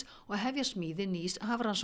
og hefja smíði nýs